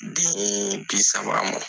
Den bi saba man.